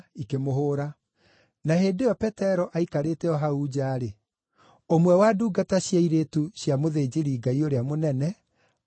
Na hĩndĩ ĩyo Petero aikarĩte o hau nja-rĩ, ũmwe wa ndungata cia airĩtu cia mũthĩnjĩri-Ngai ũrĩa mũnene akĩgerera ho.